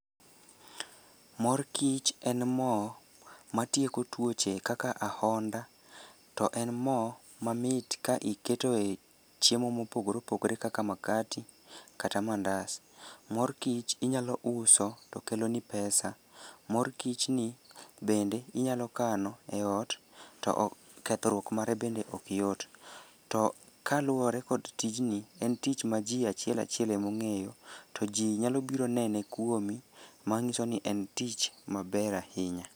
Mor kich en mo matikeo tuoche kaka ahonda, to en mo mamit ka iketo e chiemo mopogore opogore kaka makati kata mandas. Mor kich inyalo uso to keloni pesa. Mor kichni bende inyalo kano e ot to kethruok mare bende ok yot. To kaluwore kod tijni, en tich ma ji achiel achiel emong'eyo, to ji nyalo biro nene kuomi ,mang'iso ni en tich maber ahinya.